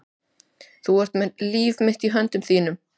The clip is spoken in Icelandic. Þú ert með líf mitt í höndum þínum.